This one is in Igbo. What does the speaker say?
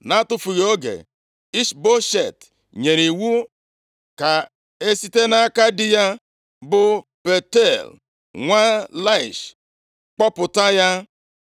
Na-atụfughị oge, Ishboshet nyere iwu ka e site nʼaka di ya bụ Paltiel, nwa Laish, kpọpụta ya.